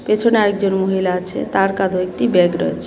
পেছনে আরেকজন মহিলা আছে তার কাঁধেও একটি ব্যাগ রয়েছে।